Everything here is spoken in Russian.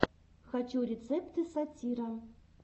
хочу рецепты сатира